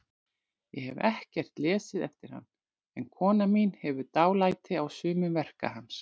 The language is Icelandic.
Ég hef ekkert lesið eftir hann, en kona mín hefur dálæti á sumum verka hans.